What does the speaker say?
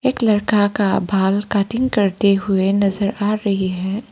एक लड़का का बाल कटिंग करते हुए नजर आ रही है।